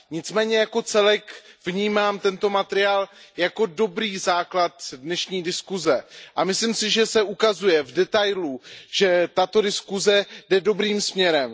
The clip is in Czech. Nicméně jako celek vnímám tento materiál jako dobrý základ dnešní diskuze a myslím si, že se ukazuje v detailu, že tato diskuze jde dobrým směrem.